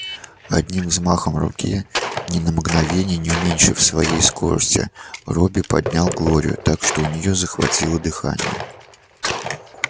одним взмахом руки ни на мгновение не уменьшив своей скорости робби поднял глорию так что у нее захватило дыхание